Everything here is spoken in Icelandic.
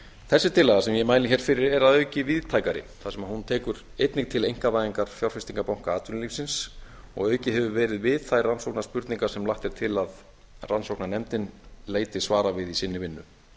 þessi tillaga sem ég mæli hér fyrir er að auki víðtækari þar sem hún tekur einnig til einkavæðingar fjárfestingarbanka atvinnulífsins og aukið hefur verið við þær rannsóknarspurningar sem lagt er til að rannsóknarnefndin leiti svar við í sinni vinnu